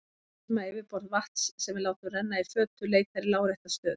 Við vitum að yfirborð vatns sem við látum renna í fötu leitar í lárétta stöðu.